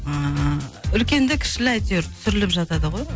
ыыы үлкенді кішілі әйтеуір түсіріліп жатады ғой